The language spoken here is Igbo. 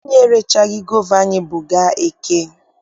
Anyị erechaghị gova anyị bu gaa eke.